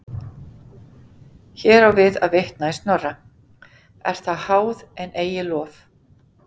Hér á við að vitna í Snorra: er það háð en eigi lof.